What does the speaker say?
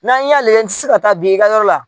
N'an y'a lajɛ n tɛ se ka taa bin i ka yɔrɔ la.